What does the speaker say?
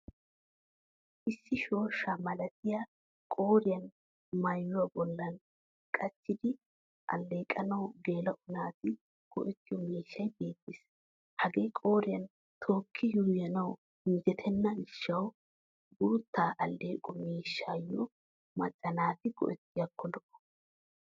Issi shooshsha malatiya qooriyan maayuwa bollan qachchidi alleqanawu geela'o naati go'ettiyo miishshay beettes. Hagee qooriyan tookki yuuyyanawu injjetenna gishshawu guutta alleeqo miishshiyo macca naati go'ettiyaakko lo'o.